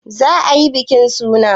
Za ayi bikin suna?